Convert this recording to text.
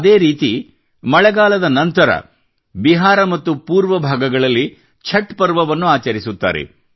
ಅದೇ ರೀತಿ ಮಳೆಗಾಲದ ನಂತರ ಬಿಹಾರ ಮತ್ತು ಪೂರ್ವ ಭಾಗಗಳಲ್ಲಿ ಛಟ್ ಪರ್ವವನ್ನು ಆಚರಿಸುತ್ತಾರೆ